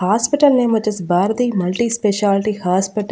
hospital name వొచ్చేసి Bharati multi speciality హాస్పిట--